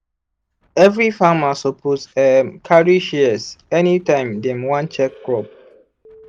every farmer suppose um carry shears anytime dem wan check crop.